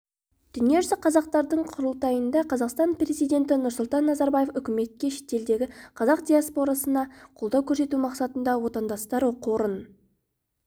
дүниежүзі қазақтардың құрылтайында қазақстан президенті нұрсұлтан назарбаев үкіметке шетелдегі қазақ диаспорысына қолдау көрсету мақсатында отандастар қорын